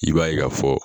I b'a ye ka fɔ